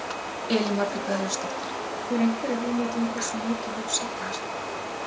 Elín Margrét Böðvarsdóttir: Hefurðu einhverja hugmynd um hversu mikið hefur safnast?